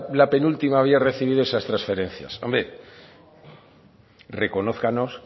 la penúltima había recibido esas transferencia hombre reconózcanos